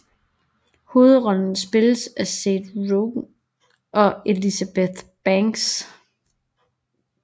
Hovedrollerne spilles af Seth Rogen og Elizabeth Banks